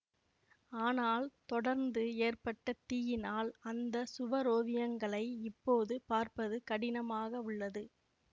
ஆனால் தொடர்ந்து ஏற்பட்ட தீயினால் அந்த சுவரோவியங்களை இப்போது பார்ப்பது கடினமாகவுள்ளது